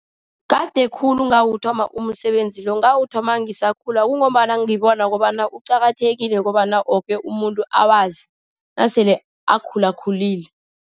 Kade khulu ngawuthoma umsebenzi lo, ngawuthoma ngisakhula. Kungombana ngibona kobana kuqakathekile kobana woke umuntu awazi, nasele akhulakhulile.